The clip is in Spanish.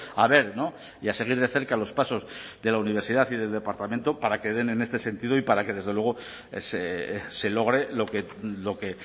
a ver y a seguir de cerca los pasos de la universidad y del departamento para que den en este sentido y para que desde luego se logre lo que